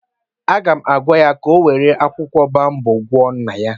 Aga m agwa ya ka ọ were akwụkwọ boabab gwọọ nna ya